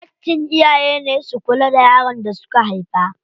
Haƙƙin iyaye ne su kula da yaron da suka haifa.